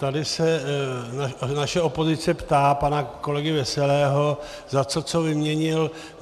Tady se naše opozice ptá pana kolegy Veselého, za co co vyměnil.